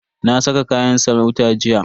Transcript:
Na saka kayan sarauta jiya.